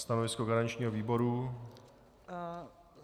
Stanovisko garančního výboru?